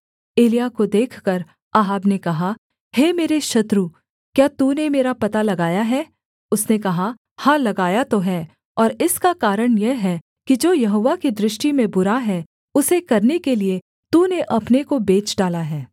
एलिय्याह को देखकर अहाब ने कहा हे मेरे शत्रु क्या तूने मेरा पता लगाया है उसने कहा हाँ लगाया तो है और इसका कारण यह है कि जो यहोवा की दृष्टि में बुरा है उसे करने के लिये तूने अपने को बेच डाला है